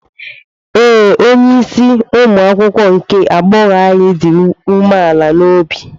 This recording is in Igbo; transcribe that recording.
Ee, onye isi umuakwukwo nke agbọghọ anyị dị umeala n'obi.